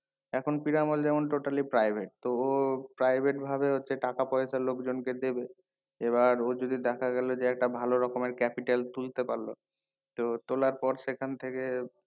এখন পিরামল যেমন totally private তো ও private ভাবে হচ্ছে টাকা পয়সা লোক জন কে দেবে এবার ও যদি দেখা গেলো যে একটা ভালো রকমের capital তুলতে পারলো তো তোলার পর সেখান থেকে